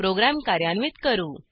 program कार्यान्वित करू